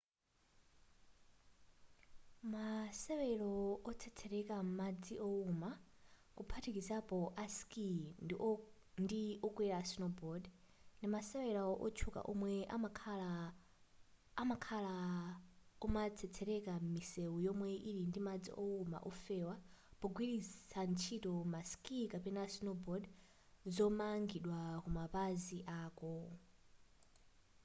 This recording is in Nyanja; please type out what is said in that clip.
masewero otsetsereka m'madzi owuma kuphatikizapo a skii ndi okwera snowboard ndimasewera wotchuka omwe amakhala omatsetsereka m'misewu yomwe ili madzi owuma ofewa pogwiritsa ntchito ma skii kapena snowboard zomangidwa kumapazi ako